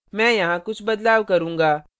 मैं यहाँ कुछ बदलाव करूँगा